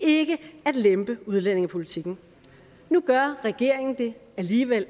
ikke at lempe udlændingepolitikken nu gør regeringen det alligevel